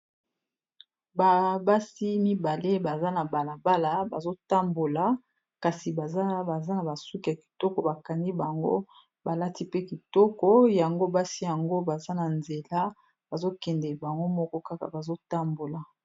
Ba basi mibale baza na balabala bazo tambola kasi baza na ba suki ya kitoko bakani bango balati pe kitoko yango basi yango baza na nzela bazo kende bango moko kaka bazo tambola.